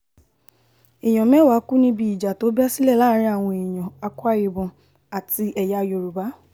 èèyàn mẹ́wàá kú níbi ìjà tó bẹ́ sílẹ̀ láàrin àwọn èèyàn cs] akwa-ibom àti ẹ̀yà yorùbá